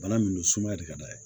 Bana min don sumaya de ka d'a ye